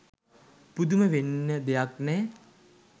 පුදුම වෙන්න දෙයක් නෑ